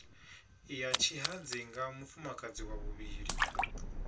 ya tshihadzinga mufumakadzi wa vhuvhili